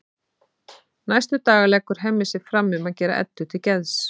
Næstu daga leggur Hemmi sig fram um að gera Eddu til geðs.